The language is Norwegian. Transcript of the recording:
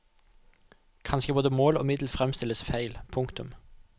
Kanskje både mål og middel fremstilles feil. punktum